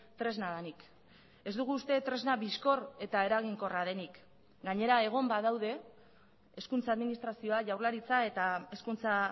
tresna denik ez dugu uste tresna bizkor eta eraginkorra denik gainera egon badaude hezkuntza administrazioa jaurlaritza eta hezkuntza